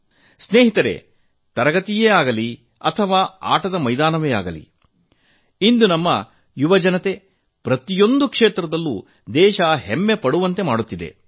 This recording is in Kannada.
ಮಿತ್ರರೇ ಇಂದು ನಮ್ಮ ಯುವಜನತೆ ತರಗತಿಯೇ ಆಗಲಿ ಅಥವಾ ಆಟದ ಮೈದಾನವೇ ಆಗಲಿ ಪ್ರತಿಯೊಂದು ಕ್ಷೇತ್ರದಲ್ಲೂ ದೇಶವೇ ಹೆಮ್ಮೆಪಡುವಂತೆ ಮಾಡುತ್ತಿದ್ದಾರೆ